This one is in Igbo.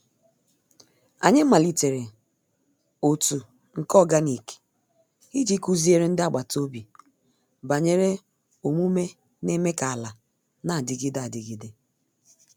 Anyị malitere otu nke organic iji kụziere ndị agbata obi banyere omume n’eme ka ala na-adịgide adịgide.